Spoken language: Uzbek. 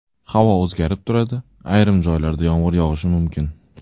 Havo o‘zgarib turadi, ayrim joylarda yomg‘ir yog‘ishi mumkin.